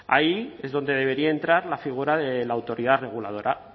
ahí es donde debería entrar la figura de la autoridad reguladora